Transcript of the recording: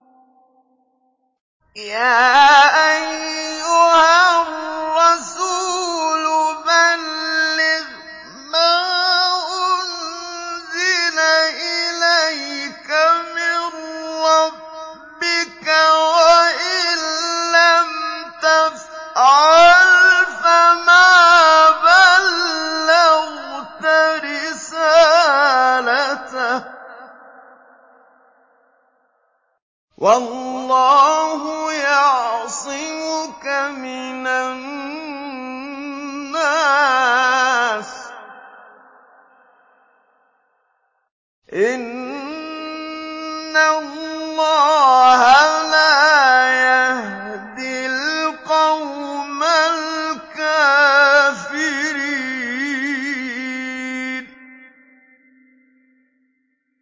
۞ يَا أَيُّهَا الرَّسُولُ بَلِّغْ مَا أُنزِلَ إِلَيْكَ مِن رَّبِّكَ ۖ وَإِن لَّمْ تَفْعَلْ فَمَا بَلَّغْتَ رِسَالَتَهُ ۚ وَاللَّهُ يَعْصِمُكَ مِنَ النَّاسِ ۗ إِنَّ اللَّهَ لَا يَهْدِي الْقَوْمَ الْكَافِرِينَ